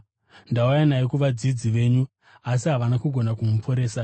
Ndauya naye kuvadzidzi venyu asi havana kugona kumuporesa.”